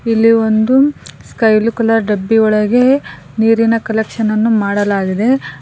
ಇಲ್ಲಿ ಒಂದು ಸ್ಕೈ ಲು ಕಲರ್ ಡಬ್ಬಿ ಒಳಗೆ ನೀರಿನ ಕಲೆಕ್ಷನ್ ಅನ್ನು ಮಾಡಲಾಗಿದೆ.